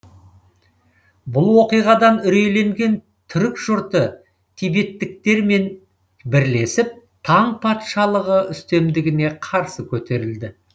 бұл оқиғадан үрейленген түрік жұрты тибеттіктермен бірлесіп таң патшалығы үстемдігіне қарсы көтерілді